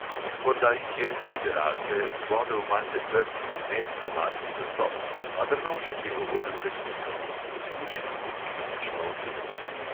Morda jih je, liberalke, zbodel malce trd in nediplomatski nastop – a drnovšek je govoril resnico, ki si zasluži tudi kritično oceno.